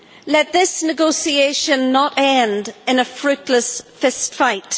Let this negotiation not end in a fruitless fistfight.